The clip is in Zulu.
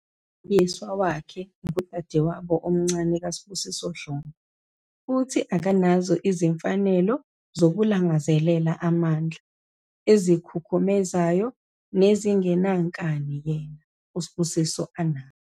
Umlingiswa wakhe ngudadewabo omncane kaSibusiso Dlomo futhi akanazo izimfanelo zokulangazelela amandla, ezikhukhumezayo nezingenankani yena, uSibusiso, anazo.